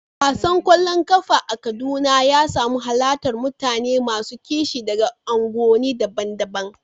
Wasan ƙwallon ƙafa a Kaduna ya samu halartar mutane masu kishi daga unguwanni daban-daban.